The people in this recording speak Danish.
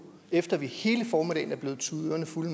efter at vi hele formiddagen er blevet tudet ørerne fulde